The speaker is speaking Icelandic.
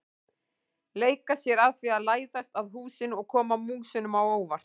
Leika sér að því að læðast að húsinu og koma músunum á óvart.